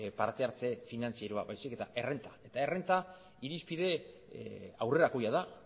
partehartze finantzieroa baizik eta errenta eta errenta irizpide aurrerakoia da